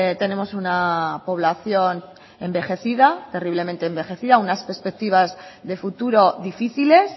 tenemos una población envejecida terriblemente envejecida unas perspectivas de futuro difíciles